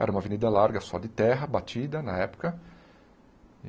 Era uma avenida larga, só de terra, batida, na época.